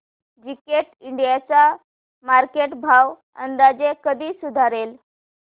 Gillette India चा market भाव अंदाजे कधी सुधारेल